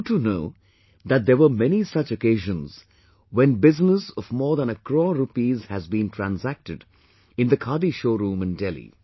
You too know that there were many such occasions when business of more than a crore rupees has been transacted in the khadi showroom in Delhi